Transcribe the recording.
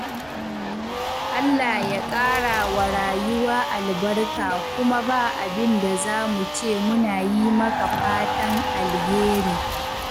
Allah ya ƙara wa rayuwa albarka kuma ba abin da za mu ce muna yi maka fatan alheri.